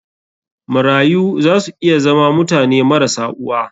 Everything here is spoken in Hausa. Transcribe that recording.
Marayu za su iya zama mutane marasa uwa.